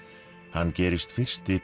hann gerist fyrsti